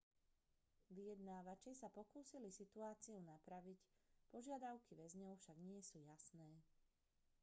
vyjednávači sa pokúsili situáciu napraviť požiadavky väzňov však nie sú jasné